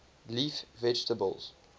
leaf vegetables